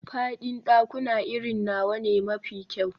Faɗin ɗakuna irin nawa ne mafi kyau.